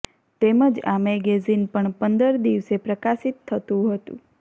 તેમજ આ મેગેઝિન પણ પંદર દિવસે પ્રકાશિત થતું હતું